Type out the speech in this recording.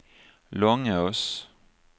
Långås